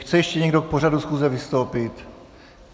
Chce ještě někdo k pořadu schůze vystoupit?